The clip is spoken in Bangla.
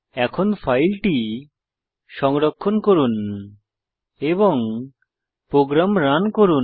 এখন ফাইলটি সংরক্ষণ করুন এবং প্রোগ্রাম রান করুন